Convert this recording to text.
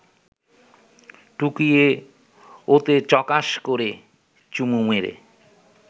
টুকিয়ে ওতে চকাশ করে চুমু মেরে